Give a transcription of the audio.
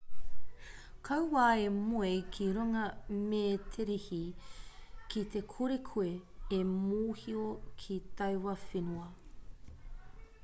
kaua e moe ki runga mēterehi ki te kore koe e mōhio ki taua whenua